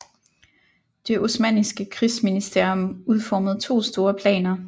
Det osmanniske krigsministerium udformede to store planer